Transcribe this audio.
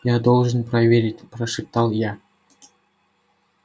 я должен проверить прошептал я